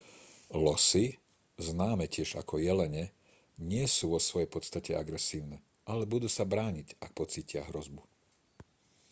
losy známe tiež ako jelene nie sú vo svojej podstate agresívne ale budú sa brániť ak pocítia hrozbu